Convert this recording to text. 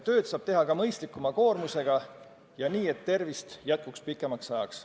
Tööd saab teha ka mõistlikuma koormusega ja nii, et tervist jätkuks pikemaks ajaks.